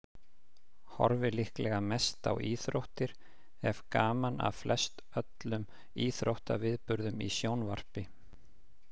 Horfi líklega mest á íþróttir, hef gaman af flestöllum íþróttaviðburðum í sjónvarpi.